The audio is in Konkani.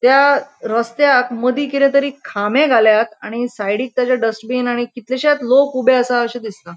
त्या रस्त्याक मदी किदेतरी खामे घाल्यात आणि साइडिक त्याज्या डस्ट्बिन आणि कितलेशेत लोक ऊबे आसा अशे दिसता.